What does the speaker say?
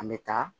An bɛ taa